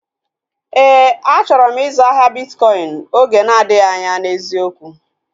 Éè, achọrọ m ịzụ ahịa bitkọin oge na-adịghị anya n'eziokwu